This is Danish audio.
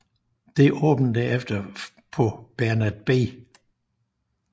Det åbnede derefter på Bernard B